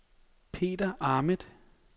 Peter Ahmed